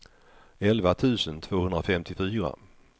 elva tusen tvåhundrafemtiofyra